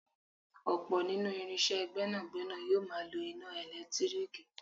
Ọ̀pọ̀ nínú irinsé gbẹ́nàgbẹ́nà yóò máa lọ iná ẹ̀lẹ́tírìkì